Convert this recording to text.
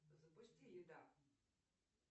запусти еда